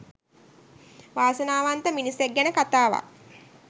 වාසනාවන්ත මිනිසෙක් ගැන කතාවක්